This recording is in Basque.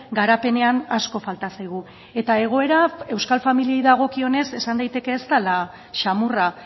garapenean asko falta zaigu eta egoera euskal familiei dagokionez esan daiteke ez dela xamurra